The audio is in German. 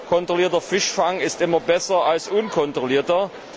Kontrollierter Fischfang ist immer besser als unkontrollierter.